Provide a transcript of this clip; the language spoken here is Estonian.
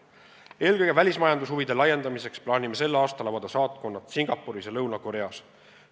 Eelkõige välismajanduse huvide laiendamiseks plaanime sel aastal avada saatkonna Singapuris ja Lõuna-Koreas.